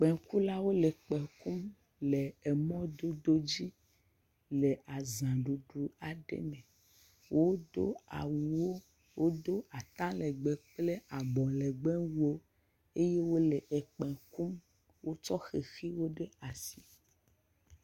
Kpẽkulawo le kpẽ kum le mɔdodowo dzi le azaɖuɖu aɖe me, wodo awu ʋiwo, wodo ata legbee kple abɔ legbewuwo eye wole ekpẽ kum wotsɔ xexiwo ɖe asi.